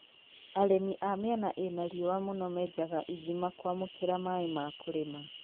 arimi a mĩena ĩna riũa mũno menjanga ĩthima kũamũkĩra maaĩ ma kũrĩma